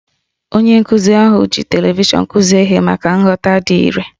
Onye nkụzi ahụ ji televishọnụ kụzie ihe maka nghọta dị irè